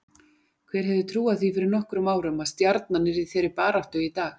Hver hefði trúað því fyrir nokkrum árum að Stjarnan yrði í þeirri baráttu í dag?